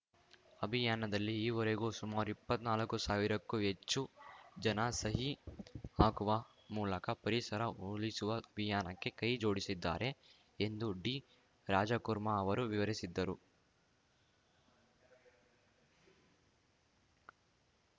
ಅಭಿಯಾನದಲ್ಲಿ ಈವರೆಗೂ ಸುಮಾರು ಇಪ್ಪತ್ನಾಲ್ಕು ಸಾವಿರಕ್ಕೂ ಹೆಚ್ಚು ಜನ ಸಹಿ ಹಾಕುವ ಮೂಲಕ ಪರಿಸರ ಉಳಿಸುವ ಅಭಿಯಾನಕ್ಕೆ ಕೈ ಜೋಡಿಸಿದ್ದಾರೆ ಎಂದು ಡಿರಾಜಕುರ್ಮಾ ಅವರು ವಿವರಿಸಿದ್ದರು